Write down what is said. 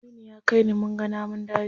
Aminu ya kai ni munga namun daji.